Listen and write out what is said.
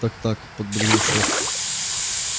так так подбодрил шеф